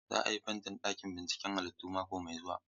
Za a yi fentin ɗakin binciken halittunmu mako mai zuwa.